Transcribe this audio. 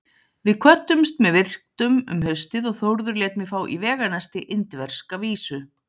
Við kvöddumst með virktum um haustið og Þórður lét mig fá í veganesti indverska vísu.